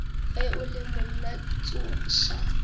ge o le monna tsoša